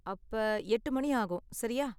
அப்ப எட்டு மணி ஆகும், சரியா?